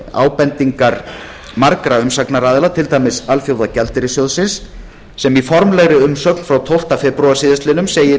ábendingar margra umsagnaraðila til dæmis alþjóðagjaldeyrissjóðsins sem í formlegri umsögn frá tólftu febrúar síðastliðinn segir